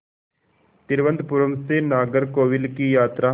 तिरुवनंतपुरम से नागरकोविल की यात्रा